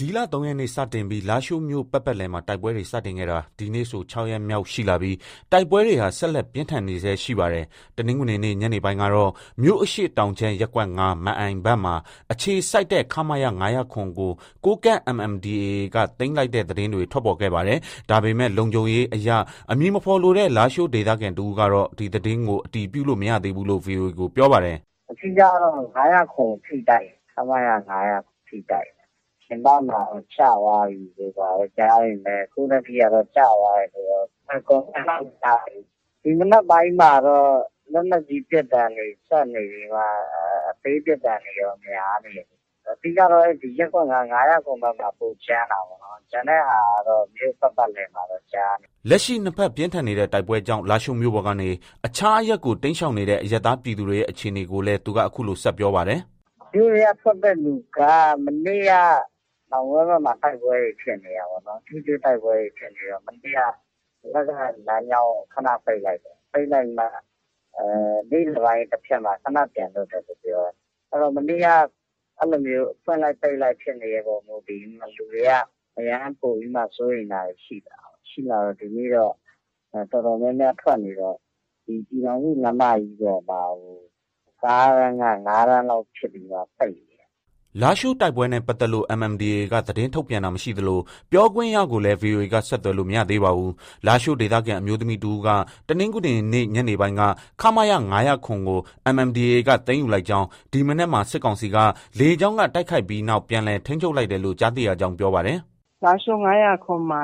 ဒီလ ၃ရက်နေ့ စတင်ပြီး လားရှိုးမြို့ ပတ်ပတ်လည်မှာ တိုက်ပွဲတွေ စတင်ခဲ့တာ ဒီနေ့ဆို ၆ရက်မြောက်ရှိလာပြီး တိုက်ပွဲတွေဟာ ဆက်လက်ပြင်းထန်နေဆဲရှိပါတယ်။ တနင်္ဂနွေနေ့ ညနေပိုင်းကတော့ မြို့အရှေ့တောင်ခြမ်း ရပ်ကွက် ၅ ၊ မန်အိုင်ဘက်မှာအခြေစိုက်တဲ့ ခမရ (၅၀၇) ကို ကိုးကန့် MNDAA က သိမ်းလိုက် သတင်းတွေ ထွက်ပေါ်ခဲ့ပါတယ်။ ဒါပေမဲ့ လုံခြုံရေးအရ အမည်မဖေါ်လိုတဲ့ လားရှိုးဒေသခံတဦးကတော့ ဒီသတင်းကို အတည်ပြုလို့ မရသေးဘူးလို့ ဗွီအိုအေကို ပြောပါတယ်။ “ အဓိကကတော့ ၅၀၇ကို ဖိတိုက်နေတာ။ ခမရ ၅၀၇ကို ဖိတိုက်နေတာ။ ပြင်ပမှာတော့ ကျသွားပြီတို့ ဘာတို့ ကြားပေမဲ့ အခုထက်ထိတော့ ကျသွားပြီလို့ Confirm (အတည်ပြုချက်) တော့ မကြားရသေးဘူး။ ဒီမနက်ပိုင်းမှာတော့ လက်နက်ကြီး ပစ်သံတွေ ဆက်နေပြီးမှ အသေးပစ်သံတွေရော များနေတယ်။ အဓိကကတော့ ရပ်ကွက် ၅ ၊ ၅၀၇ဘက်မှာ ပိုကြမ်းတာပေါ့။ ကျန်တဲ့ဟာကတော့ မြို့ ပတ်ပတ်လည်မှာတော့ ကြားနေရတယ်။” လက်ရှိ နှစ်ဘက် ပြင်းထန်နေတဲ့ တိုက်ပွဲကြောင့် လားရှိုးမြို့ပေါ်ကနေ အခြားအရပ်ကို တိမ်းရှောင်နေတဲ့ အရပ်သားပြည်သူတွေရဲ့ အခြေအနေကိုလည်း သူက အခုလို ဆက် ပြောပါတယ်။ “ မြို့ထဲက ထွက်တဲ့ လူက မနေ့က နောင်ကွဲဘက်မှာ တိုက်ပွဲတွေ ဖြစ်နေတာပေါ့။ ထိတွေ့တိုက်ပွဲတွေ ဖြစ်နေတော့ မနေ့က ဒီဘက်က လမ်းကြောင်းကို ခန ပိတ်လိုက်တယ်။ ပိတ်ပြီးမှ နေ့လည်ပိုင်း တဖြတ်မှာ ခန ပြန်ဖွင့်တယ်လို့ ပြောတယ်။ မနေ့က အဲလိုမျိုး ဖွင့်လိုက်၊ ပိတ်လိုက်ဖြစ်တဲ့အပေါ် မူတည်ပြီး လူတွေက အရမ်းပိုပြီး စိုးရိမ်တာတွေ ရှိတယ်။ ရှိတော့ ဒီနေ့တော့ တော်တော်များများ ထွက်နေတယ်။ ဒီ ပြည်ထောင်စုလမ်းမကြီးပေါ်မှာ ကားတန်းက ၅တန်းလောက်ဖြစ်ပြီးမှ ပိတ်နေတယ်။” လားရှိုးတိုက်ပွဲနဲ့ပတ်သက်လို့ MNDAA က သတင်းထုတ်ပြန်တာမရှိသလို ပြောခွင့်ရကိုလည်း ဗွီအိုအေက ဆက်သွယ်လို့ မရသေးပါဘူး။လားရှိုး ဒေသခံအမျိုးသမီးတဦးက တနင်္ဂနွေနေ့ ညနေပိုင်းက ခမရ ၅၀၇ကို MNDAA က သိမ်းယူလိုက်ကြောင်း၊ ဒီမနက်မှာ စစ်ကောင်စီက လေကြောင်းက တိုက်ခိုက်ပြီးနောက် ပြန်လည် ထိန်းချုပ်လိုက်တယ်လို့ ကြားသိရကြောင်း ပြောပါတယ်။ “ လားရှိုး ၅၀၇မှာ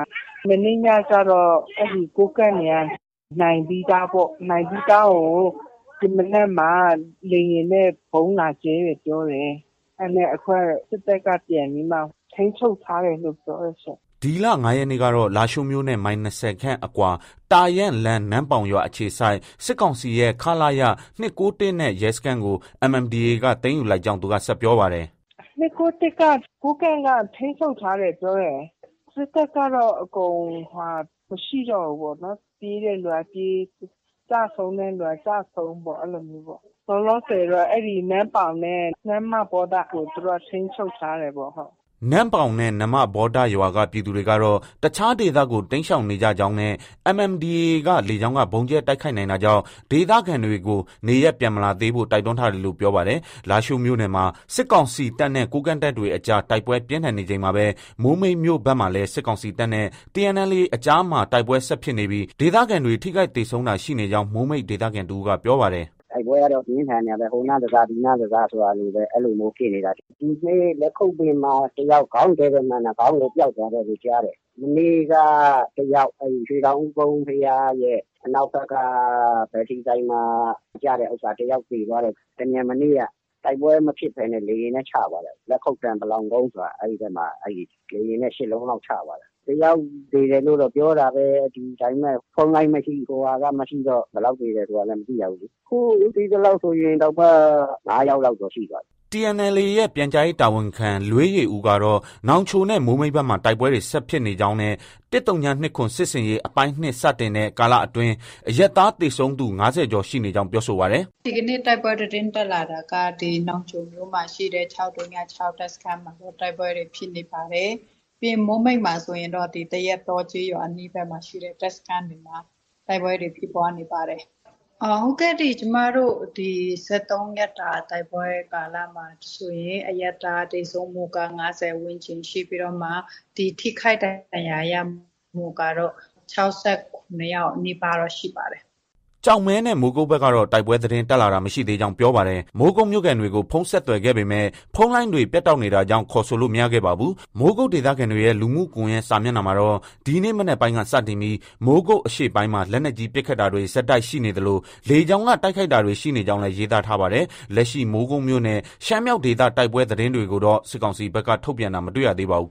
မနေ့ညကတော့ ကိုးကန့်တွေက နိုင်ပြီးသားပေါ့ နိုင်ပြီးသားကို ဒီမနက်မှာ လေယာဉ်နဲ့ ဗုံးလာကြဲတယ် ပြောတယ်။ အခုကတော့ စစ်တပ်က ပြန်ပြီးမှ ထိန်းချုပ်ထားတယ်လို့ ပြောတယ်ရှင့်။ ” ဒီလ ၅ရက်နေ့ကတော့ လားရှိုးမြို့နဲ့ မိုင်၂၀ခန့်အကွာ တာယန်းလမ်း၊ နမ့်ပေါင်ရွာအခြေစိုက် စစ်ကောင်စီရဲ့ ခလရ ၂၉၁နဲ့ ရဲစခန်းကို MNDAA က သိမ်းယူလိုက်ကြောင်း သူက ဆက်ပြောပါတယ်။ “ ၂၉၁က ကိုးကန့်က ထိန်းချုပ်ထားတယ်ပြောတယ်။ စစ်တပ်ကတော့ အကုန် မရှိတော့ဘူးပေါ့နော်။ ပြေးတဲ့သူက ပြေး။ ကျဆုံးတဲ့သူက ကျဆုံးပေါ့။ အဲလိုမျိုးပေါ့။ လောလောဆည်တော့နမ့်ပေါင်နဲ့ နမ္မဗောဒကို သူတို့က ထိန်းချုပ်ထားတယ်ပေါ့။” နမ့်ပေါင်နဲ့ နမ္မဗောဒရွာက ပြည်သူတွေကတော့ တခြားဒေသကို တိမ်းရှောင်နေကြကြောင်းနဲ့ MNDAA က လေကြောင်းက ဗုံးကြဲတိုက်ခိုက်နိုင်တာကြောင် ဒေသခံတွေကို နေရပ်ပြန်မလာသေးဖို့ တိုက်တွန်းထားတယ်လို့ ပြောပါတယ်။ လားရှိုးမြို့နယ်မှာ စစ်ကောင်စီတပ်နဲ့ ကိုးကန့်တပ်တွေအကြား တိုက်ပွဲပြင်းထန်နေချိန်မှာပဲ မိုးမိတ်မြို့ဘက်မှာလည်း စစ်ကောင်စီတပ်နဲ့ TNLA အကြားမှာ တိုက်ပွဲဆက်ဖြစ်နေပြီး ဒေသခံတွေ ထိခိုက်သေဆုံးတာ ရှိနေကြောင်း မိုးမိတ်ဒေသခံတဦးက ပြောပါတယ်။ “ တိုက်ပွဲကတော့ ပြင်းထန်နေတာပဲ။ ဟိုနားတစ၊ ဒီနားတစ ဆိုတာလို အဲလိုမျိုးဖြစ်နေတာ။ ဒီနေ့ လက်ခုပ်ပင်မှာ ခေါင်းတည့်တည့်မှန်တာ ခေါင်းကို ပျောက်သွားတယ်လို့ ကြားတယ်။ မနေ့ကတယောက် အဲဒီ ရွှေတောင်ဦးကုန်း ဘုရားရဲ့ အနောက်ဘက်က ဘက်ထရီဆိုင်မှာ ကျတဲ့ဥစ္စာ တယောက်သေသွားတယ်။ တမြန်နေ့က တိုက်ပွဲမဖြစ်ဘဲ လေယာဉ်နဲ့ ချသွားတာ။ လက်ခုပ်တန်း ပလောင်ကုန်းမှာ အဲဒီဘက်မှာ လေယာဉ်နဲ့ ၈လုံးလောက် ချသွားတာ။ တယောက်သေတယ်လို့တော့ ပြောတာပဲ။ ဒါပေမဲ့ ဖုန်းလိုင်းမရှိ၊ ဟိုဟာက မရှိတော့ ဘယ်လောက်သေတယ်ဆိုတာလည်း မသိရဘူးလေ။ ခု သိသလောက်ဆိုရင်တောင်မှ ၅ယောက်လောက်တော့ ရှိသွားပြီ။ ” TNLA ရဲ့ ပြန်ကြားရေးတာဝန်ခံ လွေးယေဦးကတော့ နောင်ချိုနဲ့ မိုးမိတ်ဘက်မှာ တိုက်ပွဲတွေ ဆက်ဖြစ်နေကြောင်းနဲ့ ၁၀၂၇ စစ်ဆင်ရေး အပိုင်း ၂ စတင်တဲ့ ကာလအတွင်း အရပ်သားသေဆုံးသူ ၅၀ကျော်ရှိနေကြောင်း ပြောဆိုပါတယ်။ “ ဒီကနေ့ တိုက်ပွဲသတင်းတက်လာတာက နောင်ချိုမြို့မှာ ရှိတဲ့ ၆၀၆ တပ်စခန်းမှာ တိုက်ပွဲတွေ ဖြစ်နေပါတယ်။ ပြီးရင် မိုးမိတ်မှာဆိုရင်တော့ သရက်တောကျေးရွာဘက်မှာ ရှိတဲ့ တပ်စခန်းတွေမှာ တိုက်ပွဲတွေ ဖြစ်ပွားနေပါတယ်။ ကျမတို့ ၁၃ရက်တာ တိုက်ပွဲကာလမှာဆိုရင် အရပ်သားသေဆုံးမှုက ၅၀ ဝန်းကျင်ရှိပြီးတော့မှ ဒီ ထိခိုက်ဒဏ်ရာရမှုကတော့ ၆၇ယောက်နီးပါးတော့ ရှိပါတယ်။ ” ကျောက်မဲနဲ့ မိုးကုတ်ဘက်ကတော့ တိုက်ပွဲသတင်းတက်လာတာမရှိသေးကြောင်း ပြောပါတယ်။ မိုးကုတ်မြို့ခံတွေကို ဖုန်းဆက်သွယ်ခဲ့ပေမဲ့ ဖုန်းလိုင်းတွေ ပြတ်တောက်နေတာကြောင့် ခေါ်ဆိုလို့ မရခဲ့ပါဘူး။ မိုးကုတ်ဒေသခံတွေရဲ လူမှုကွန်ရက်စာမျက်နှာမှာတော့ ဒီနေ့ မနက်ပိုင်းက စတင်ပြီး မိုးကုတ် အရှေ့ပိုင်းမှာ လက်နက်ကြီး ပစ်ခတ်တာတွေ ဆက်တိုက်ရှိနေသလို လေကြောင်းက တိုက်ခိုက်တာတွေ ရှိနေကြောင်းလည်း ရေးသားထားပါတယ်။ လက်ရှိ မိုးကုတ်မြို့နဲ့ ရှမ်းမြောက်ဒေသတိုက်ပွဲသတင်းတွေကိုတော့ စစ်ကောင်စီဘက်က ထုတ်ပြန်တာ မတွေ့ရသေးပါဘူး